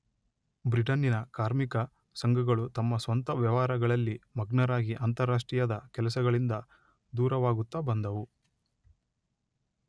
ಬ್ರಿಟನ್ನಿನ ಕಾರ್ಮಿಕ ಸಂಘಗಳು ತಮ್ಮ ಸ್ವಂತ ವ್ಯವಹಾರಗಳಲ್ಲಿ ಮಗ್ನರಾಗಿ ಅಂತಾರಾಷ್ಟ್ರೀಯದ ಕೆಲಸಗಳಿಂದ ದೂರವಾಗುತ್ತ ಬಂದುವು.